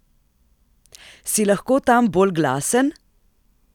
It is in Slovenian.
Si lahko tam bolj glasen?